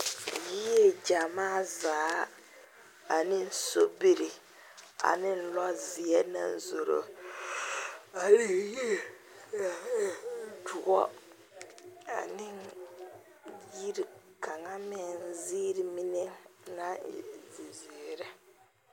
Yie gyɛmaa zaa ane sobiri ane lɔzeɛ naŋ zoro ane yie doɔ ane ane yiri kaŋ ziiri mine naŋ e zizeere.